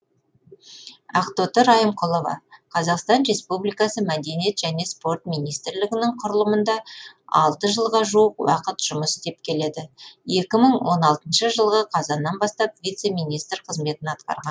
ақтоты райымқұлова қазақстан республикасы мәдениет және спорт министрлігінің құрылымында алты жылға жуық уақыт жұмыс істеп келеді екі мың он алтыншы жылғы қазаннан бастап вице министр қызметін атқарған